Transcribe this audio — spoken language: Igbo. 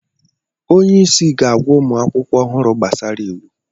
onye isi ga-agwa ụmụ akwụkwọ ọhụrụ gbasara iwu